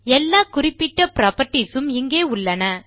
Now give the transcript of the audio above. எல்லா குறிப்பிட்ட புராப்பர்ட்டீஸ் உம் இங்கேயுள்ளன